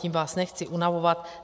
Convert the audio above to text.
Tím vás nechci unavovat.